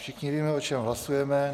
Všichni víme, o čem hlasujeme.